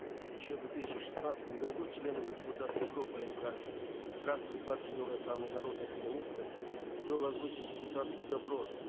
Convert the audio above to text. еще в две тысячи шестнадцатом году членами депутатской группы нк фракции партии нур отан и народные коммунисты был озвучен депутатский запрос